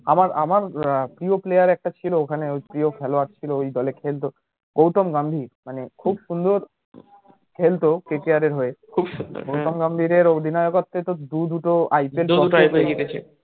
আমার আমার পড়ি player একটা ছিল ওখানে প্রিয় খেলোয়াড় ছিল ওই দলে খেলতো গৌতম গম্ভীর মানে খুব সুন্দর খেলতো KKR হয়ে খুব সুন্দর গৌতম গম্ভীরের অধিনায়কত্বে তো দুদুটো